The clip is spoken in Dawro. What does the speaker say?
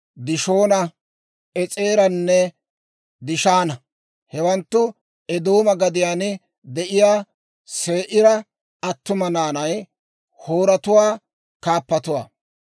Dishoona, Es'eeranne Dishaana; hewanttu, Eedooma gadiyaan de'iyaa Se'iira attuma naanay, Hooretuwaa kaappatuwaa.